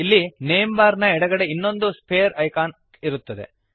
ಇಲ್ಲಿ name bar ನ ಎಡಗಡೆಗೆ ಇನ್ನೊಂದು ಸ್ಫಿಯರ್ ಐಕಾನ್ ಇರುತ್ತದೆ